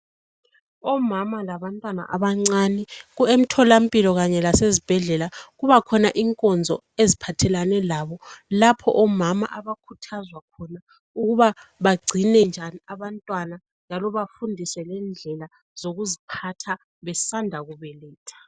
Omama labantwana abancane emtholampilo Kanye lasezibhedlela kubakhona inkonzo eziphathelane labo lapho omama abakhuthazwa khona ukuba bagcine njani abantwana njalo bafundiswe ngendlela zokuziphatha besanda kubeletha.